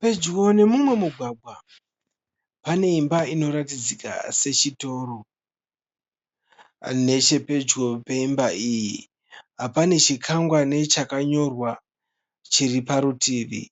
Pedyo nemumwe mugwagwa pane imba inoratidzika sechitoro. Nechepedyo peimba iyi pane chikwangwani chakanyorwa chiri parutivi.